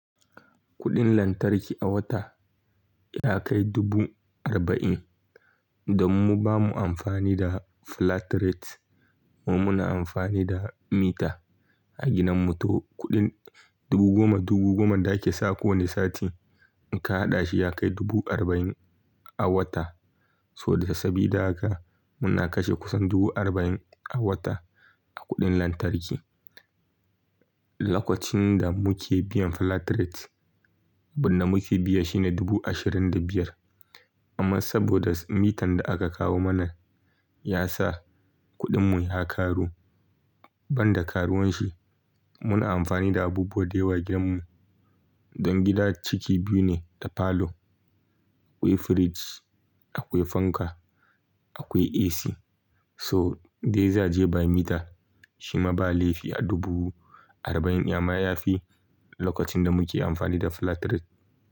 Kuɗin lantarki a wata ya kai dubu arba'in. Dammu bamu amfani da flat rate, mu muna amfani da mita a gidan mu, to kuɗin dubu goma dubu goman da ake sa kowane sati, in ka haɗa shi ya kai dubu arba'in a wata. To da sabida haka muna kashe kusan dubu arba'in a wata a kuɗin lantarki. Lokacin da muke biyan flat rate, abin da muke biya shine dubu ashirin da biyar. Amma saboda mitan da aka kawo mana ya sa kuɗin mu ya karu, ban da karuwanshi muna amfani da abubuwa da yawa gidan mu. Don gida ciki biyu ne da falo, akwai fridge, akwai fanka, akwai AC. To in dai za je ba mita shi ma ba laifi a dubu arba'in in, amma ya fi lokacin da muke amfani da flat rate.